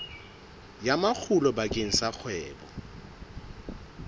ya makgulo bakeng sa kgwebo